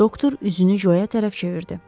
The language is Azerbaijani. Doktor üzünü Co-ya tərəf çevirdi.